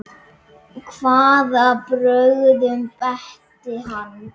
Hvaða brögðum beitti hann?